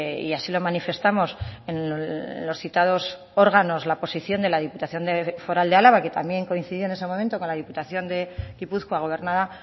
y así lo manifestamos en los citados órganos la posición de la diputación foral de álava que también coincidió en ese momento con la diputación de gipuzkoa gobernada